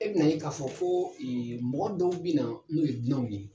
E bɛn'a ye k'a fɔ ko mɔgɔ dɔw bɛ na n'o ye dunanw ye